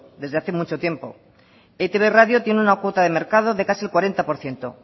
desde hace mucho tiempo etib radio tiene una cuota de mercado de casi el cuarenta por ciento